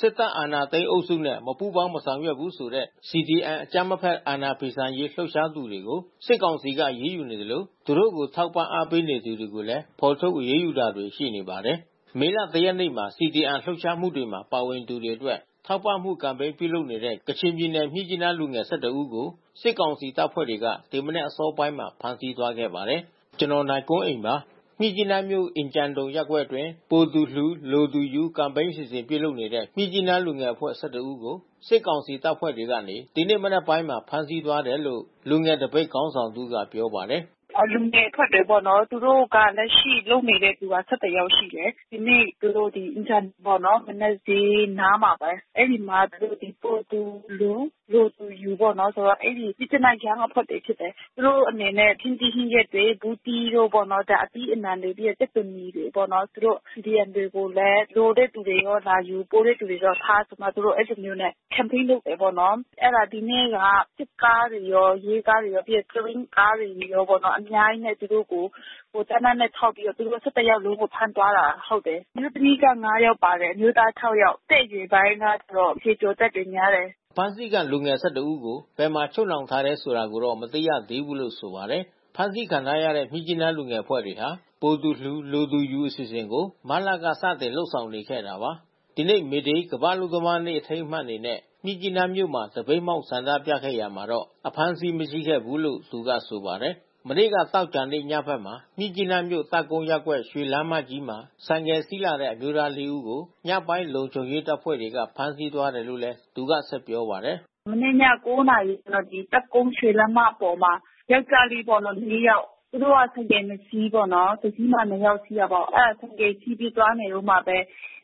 စစ်တပ်အာဏာသိမ်းအုပ်စုနဲ့ မပူးပေါင်း မဆောင်ရွက်ဘူးဆိုတဲ့ CDM အကြမ်းမဖက် အာဏာဖီဆန်ရေး လှုပ်ရှားနေသူတွေကို စစ်ကောင်စီက အရေးယူနေသလို သူတို့ကို ထောက်ပံ့အားပေးနေသူတွေကိုလည်း ဖော်ထုတ် အရေးယူတာတွေ ရှိနေပါတယ်။ မေလ ၁ ရက်နေ့မှာ CDM လှုပ်ရှားမှုမှာ ပါဝင်သူတွေအတွက် ထောက်ပံ့မှုကမ်ပိန်း ပြုလုပ်နေတဲ့ ကချင်ပြည်နယ် မြစ်ကြီးနားလူငယ် ၁၁ ဦးကို စစ်ကောင်စီ တပ်ဖွဲ့တွေက ဒီမနက်အစောပိုင်းမှာ ဖမ်းဆီးသွားခဲ့ပါတယ်။ အပြည့်အစုံကို နိုင်ကွန်းအိန် တင်ပြပေးထားပါတယ်။ မြစ်ကြီးနားမြို့ အင်ဂျန်ဒုံရပ်ကွက်အတွင်း "ပိုသူလှူ လိုသူယူ" ကမ်ပိန်းအစီအစဉ် ပြုလုပ်နေတဲ့ မြစ်ကြီးနားလူငယ်အဖွဲ့ ၁၁ ဦးကို စစ်ကောင်စီတပ်ဖွဲ့ဝင်တွေကနေ ဒီနေ့မနက်ပိုင်းမှာ ဖမ်းဆီးသွားတယ်လို့ လူငယ်သပိတ်ခေါင်းဆောင်တဦးက ပြောပါတယ်။ “လူငယ်အဖွဲ့တွေပါ့နော်။ သူတို့က လက်ရှိလုပ်နေတဲ့သူက ၁၁ ယောက်ရှိတယ်။ ဒီနေ့ သူတို့ အင်ဂျန်ဒုံပေါ့နော်၊ မနက်ဈေးနားမှာပဲ။ အဲဒီအနား သူတို့ ပိုသူလှူ လိုသူယူပေါ့နော်။ အဲဒီ ‘Myitkyina Young’ အဖွဲ့တွေ ဖြစ်တယ်။ သူတို့အနေနဲ့ ဟင်းသီးဟင်းရွက်တွေ ဘူးသီးတို့ပေါ့နော် အသီးအနှံတွေ၊ ကြက်သွန်နီတွေပေါ့နော်၊ သူတို့ CDM တွေကိုလည်း လိုတဲ့သူတွေရော လာယူ၊ ပိုတဲ့သူတွေတော့ထား ဆိုပြီးမှ သူတို့ အဲဒီလိုမျိုးနဲ့ ကမ်ပိန်းလုပ်တာပေါ့နော်။ အဲဒါ ဒီနေ့က စစ်ကားတွေရော ရဲကားတွေရော ပြီးရင် ၁၀ ဘီးကားတွေရောပေါ့နော်။ အများကြီးနဲ့ သူတို့ကို သေနတ်နဲ့ထောက်ပြီးတော့ သူတို့ ၁၁ ယောက်ကို ဖမ်းသွားတာ ဟုတ်တယ်။ အမျိုးသမီးက ၅ ယောက်ပါတယ်။ အမျိုးသားက ၆ ယောက်။ အသက်အရွယ်ပိုင်းကတော့ ဆယ်ကျော်သက်တွေ များတယ်။” အဖမ်းဆီးခံလူငယ် ၁၁ ဦးကို ဘယ်မှာချုပ်နှောင်ထားတယ် ဆိုတာကိုတော့ မသိရသေးဘူးလို့ ဆိုပါတယ်။ ဖမ်းဆီးခံထားရတဲ့ မြစ်ကြီးနား လူငယ်အဖွဲ့တွေဟာ ပိုသူလှူ လိုသူယူ အစီအစဉ်ကို မတ်လက စတင်လုပ်ဆောင်နေခဲ့တာပါ။ ဒီနေ့ မေဒေး ကမ္ဘာ့အလုပ်သမားနေ့ အထိမ်းအမှတ်အနေနဲ့ မြစ်ကြီးနားမြို့မှာ သပိတ်မှောက် ဆန္ဒပြခဲ့ရာမှာတော့ အဖမ်းအဆီး မရှိခဲ့ဘူးလို့ သူကဆိုပါတယ်။ မနေ့ သောကြာနေ့ ညဘက်မှာ မြစ်ကြီးနားမြို့၊ တပ်ကုန်းရပ်ကွက် ရွှေလမ်းမကြီးမှာ ဆိုင်ကယ်စီးလာတဲ့ အမျိုးသား ၄ ဦးကို ညပိုင်း လုံခြုံရေးတပ်ဖွဲ့တွေက ဖမ်းဆီးသွားတယ်လို့လည်း သူက ဆက်ပြောပါတယ်။ “မနေ့ည ၉ နာရီမှာ ဒီ တပ်ကုန်း ရွှေလမ်းမပေါ်မှာ ယောကျ်ားလေးပေါ့နော် ၄ ယောက်၊ သူတို့က ဆိုင်ကယ် ၂ စီးပေါ့နော်။ တစီးမှာ နှစ်ယောက်စီးတာပေါ့။ အဲဒါ ဆိုင်ကယ်စီးပြီး သွားနေတုန်းမှာပဲ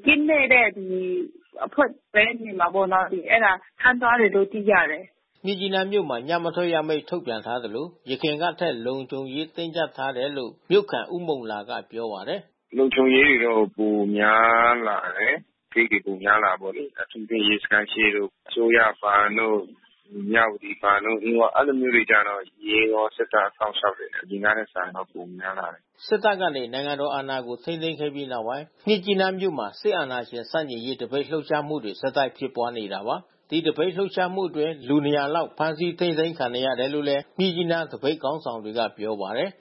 ကင်းလှည့်တဲ့အဖွဲ့ပဲ နေမှာပေါ့နော်။ အဲဒါ ဖမ်းသွားတယ်လို့တော့ သိရတယ်။” မြစ်ကြီးနားမြို့မှာ ညမထွက်ရအမိန့် ထုတ်ပြန်ထားသလို ယခင်ကထက် လုံခြုံရေး တင်းကျပ်ထားတယ်လို့ မြို့ခံ ဦးမုန်လာက ပြောပါတယ်။ “လုံခြုံရေးတွေတော့ ပိုများလာတယ်။ ဂိတ်တွေ ပိုများလာတာပေါ့လေ။ အထူးသဖြင့် ရဲစခန်းရှေ့တို့ အစိုးရဘဏ်တို့ မြဝတီဘဏ်တို့ အင်းဝ အဲဒီလိုမျိုးကျတော့ ရဲရော စစ်တပ်ရော စောင့်ရှောက်တယ်။ အရင်ကထက်စာရင် ပိုများတယ်။” စစ်တပ်ကနေ နိုင်ငံတော်အာဏာကို ထိန်းသိမ်းခဲ့ပြီးနောက်ပိုင်း မြစ်ကြီးနားမြို့မှာ စစ်အာဏာရှင် ဆန့်ကျင်ရေး သပိတ်လှုပ်ရှားမှုတွေ ဆက်တိုက်ဖြစ်ပွားနေတာပါ။ ဒီသပိတ်လှုပ်ရှားမှုအတွင်း လူ ၂၀၀ လောက် ဖမ်းဆီးထိန်းသိမ်းခံနေရတယ်လို့လည်း မြစ်ကြီးနား သပိတ်ခေါင်းဆောင်တွေက ပြောပါတယ်